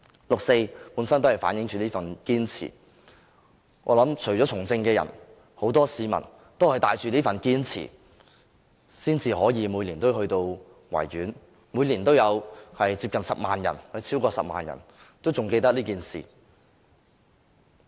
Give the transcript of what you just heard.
六四本身反映着這份堅持，我相信除了從政的人外，很多市民均是帶着這份堅持，才會每年前往維園，每年都有超過10萬人仍記得這件事。